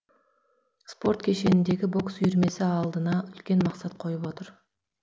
спорт кешеніндегі бокс үйірмесі алдына үлкен мақсат қойып отыр